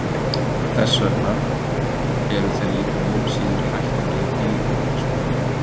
Þess vegna eru þeir líka mun síður hættulegir dýrum en plastpokar.